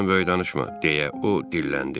Başından böyük danışma, deyə o dilləndi.